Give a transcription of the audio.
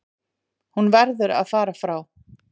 Hún verður að fara frá